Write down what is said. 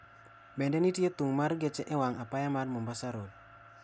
bende nitie dhung' mar geche e wang' apaya mar mombasa road